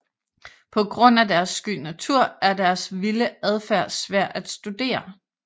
På grund af deres sky natur er deres vilde adfærd svær at studere